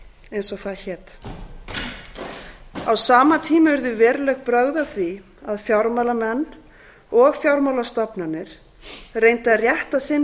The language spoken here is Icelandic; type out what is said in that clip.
eins og það hét á sama tíma urðu veruleg brögð að því að fjármálamenn og fjármálastofnanir reyndu að rétta sinn